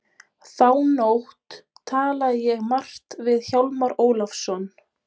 Þá nótt talaði ég margt við Hjálmar Ólafsson.